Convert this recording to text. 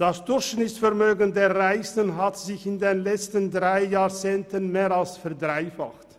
Das Durchschnittsvermögen der Reichsten hat sich in den letzten drei Jahrzehnten mehr als verdreifacht.